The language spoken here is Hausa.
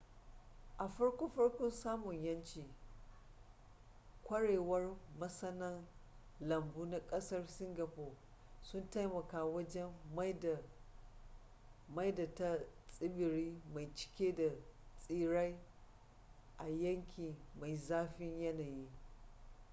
a farko farkon samun yanci kwarewar masana lambu na kasar singapore sun taimaka wajen maida ta tsibiri mai cike da tsirrai a yanki mai zafin yanayi